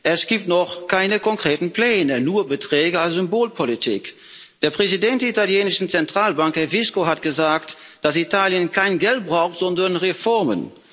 Es gibt noch keine konkreten Pläne, nur Beträge als Symbolpolitik. Der Präsident der italienischen Zentralbank, Herr Visco, hat gesagt, dass Italien kein Geld braucht, sondern Reformen.